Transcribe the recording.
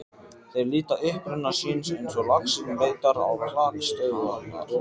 Þeir leita uppruna síns eins og laxinn leitar á klakstöðvarnar.